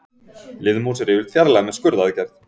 Liðmús er yfirleitt fjarlægð með skurðaðgerð.